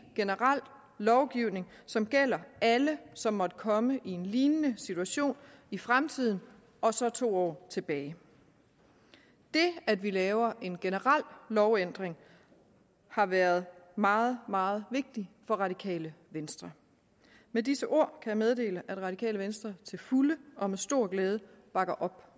generel lovændring som gælder alle som måtte komme i en lignende situation i fremtiden og to år tilbage det at vi laver en generel lovændring har været meget meget vigtigt for radikale venstre med disse ord kan jeg meddele at radikale venstre til fulde og med stor glæde bakker op